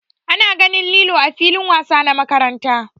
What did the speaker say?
Ana ganin lilo ã filin wasa na makaranta.